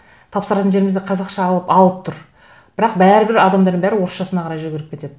тапсыратын жеріміз де қазақша алып тұр бірақ бәрібір адамдардың бәрі орысшасына қарай жүгіріп кетеді